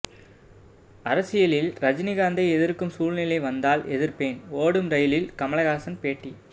அரசியலில் ரஜினிகாந்தை எதிர்க்கும் சூழ்நிலை வந்தால் எதிர்ப்பேன் ஓடும் ரெயிலில் கமல்ஹாசன் பேட்டி